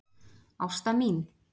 Ásta mín.